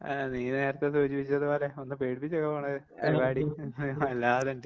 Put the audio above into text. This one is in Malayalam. നീ നേരത്തെ സൂചിപ്പിച്ചതുപോലെ ഒന്ന് പേടിപ്പിച്ച് വയ്ക്കാൻ പാടില്ലേ വല്ലാതെ ഇണ്ട്.